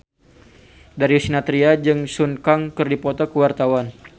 Darius Sinathrya jeung Sun Kang keur dipoto ku wartawan